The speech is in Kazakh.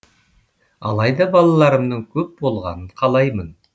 алайда балаларымның көп болғанын қалаймын